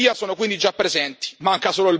Giudice e giuria sono quelli già presenti.